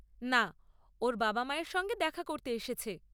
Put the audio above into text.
না, ওর বাবা মায়ের সঙ্গে দেখা করতে এসেছে।